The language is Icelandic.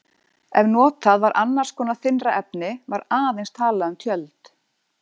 Ef notað var annars konar þynnra efni var aðeins talað um tjöld.